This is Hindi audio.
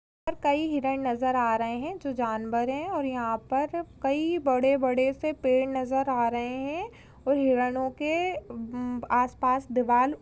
कई हिरण नजर आ रहे है जो जानवर है और यहाँ पर कई बड़े-बड़े से पेड़ नजर आ रहे है और हिरणों के अमम.... आस-पास दीवाल--